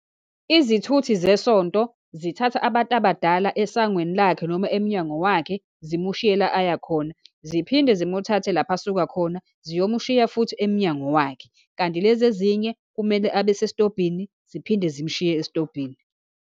Izithuthi zesonto zithatha abantu abadala esangweni lakhe, noma emnyango wakhe, zimushiye la aya khona, ziphinde zimuthathe lapha asuka khona ziyomushiya futhi emnyango wakhe, kanti lezi ezinye kumele abe sesitobhini, ziphinde zimshiye esitobhini.